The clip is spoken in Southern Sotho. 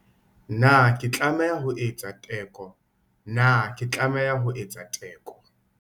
Na ke tlameha ho etsa teko? Na ke tlameha ho etsa teko?